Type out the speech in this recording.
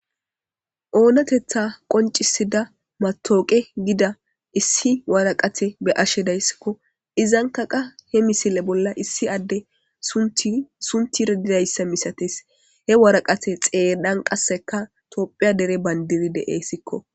Onateththe qonccissida matawjuqeyi gida issi waraqete be'ashshe dayissikko .izzankka qaa he missile bolla issi adee sunththi sunththira dizayissa misatessi .he waraqate xeeranni qasiekka tophphiya dere bandir de'essikko.